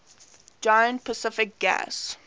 giant pacific gas